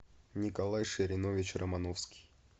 николай ширинович романовский